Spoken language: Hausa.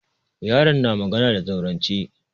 Yaron na magana da zaurance.